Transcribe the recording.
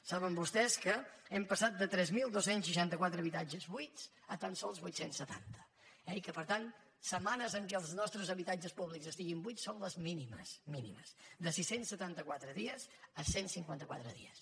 saben vostès que hem passat de tres mil dos cents i seixanta quatre habitatges buits a tan sols vuit cents i setanta i que per tant setmanes en què els nostres habitatges públics estiguin buits són les mínimes mínimes de sis cents i setanta quatre dies a cent i cinquanta quatre dies